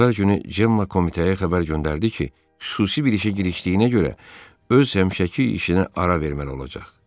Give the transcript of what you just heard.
Bazar günü Gemma komitəyə xəbər göndərdi ki, xüsusi bir işə girişdiyinə görə öz həmişəki işinə ara verməli olacaq.